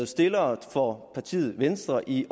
stillere for partiet venstre i